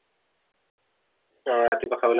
অহ ৰাতিপুৱা খাবলৈ